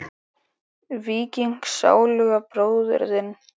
Víking sáluga bróður þinn?